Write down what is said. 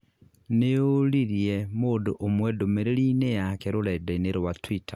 nĩũririe mundu ũmwe ndumĩrĩrinĩ yake rũrenda-inĩ rwa twitter.